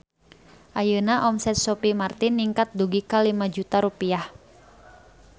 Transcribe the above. Ayeuna omset Sophie Martin ningkat dugi ka 5 juta rupiah